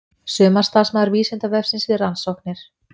Sumarstarfsmaður Vísindavefsins við rannsóknir.